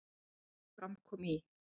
Að því er fram kom í